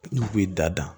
N'u kun ye da